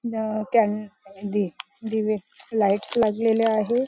न अह कॅण् दि दिवे लाईट्स लागलेले आहे.